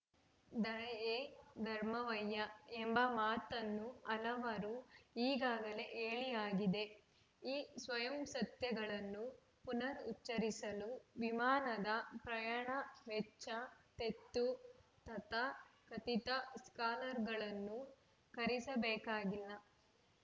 ದಯೆಯೇ ಧರ್ಮವಯ್ಯಾ ಎಂಬ ಮಾತನ್ನು ಹಲವರು ಈಗಾಗಲೇ ಹೇಳಿಯಾಗಿದೆ ಈ ಸ್ವಯಂಸತ್ಯಗಳನ್ನು ಪುನರುಚ್ಚರಿಸಲು ವಿಮಾನದ ಪ್ರಯಾಣ ವೆಚ್ಚ ತೆತ್ತು ತಥಾಕಥಿತ ಸ್ಕಾಲರುಗಳನ್ನು ಕರೆಸಬೇಕಾಗಿಲ್ಲ